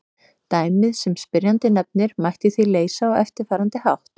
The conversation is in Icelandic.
Dæmið sem spyrjandi nefnir mætti því leysa á eftirfarandi hátt.